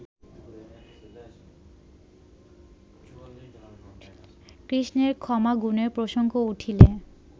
কৃষ্ণের ক্ষমাগুণের প্রসঙ্গ উঠিলে